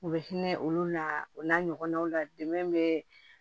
U bɛ hinɛ olu la u n'a ɲɔgɔnnaw la dɛmɛ bɛ